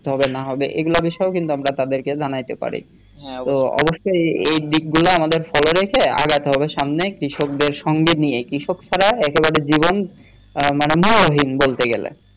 হবে না হবে এ বিষয় গুলা আমরা তাদেরকে জানাইতে পারি অবশ্যেই এ দিক গুলা আমাদের সবাইকে আগাইতে হবে সামনেই কৃষকদের সঙ্গে নিয়ে কৃষকদের ছাড়া একে বারে জীবন মানে মুল্যহীন বলতে গেলে